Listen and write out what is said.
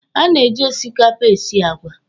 A na-eji osikapa esi àgwà.